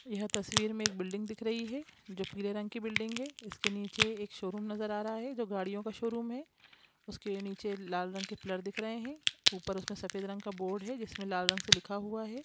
यह तस्वीर में एक बिल्डिंग दिख रही है जो पीले रंग की बिल्डिंग है इसके नीचे एक शोरूम नजर आ रहा है जो गाड़ियों का शोरूम है उसके नीचे लाल रंग के पिलर दिख रहें हैं ऊपर उसमें सफेद रंग का बोर्ड है जिसमें लाल रंग से लिखा हुआ है।